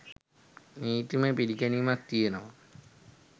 නීතිමය පිළිගැනීමක් තියෙනවා.